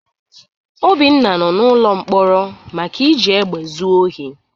Obinna nọ n'ụlọ mkpọrọ maka iji egbe zu ohi.